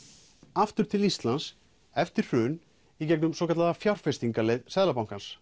aftur til Íslands eftir hrun í gegnum svokallaða fjárfestingaleið Seðlabankans